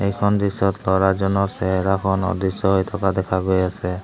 এ খন দৃশ্যত ল'ৰাজনৰ খন অদৃশ্য হৈ থকা দেখা গৈ আছে।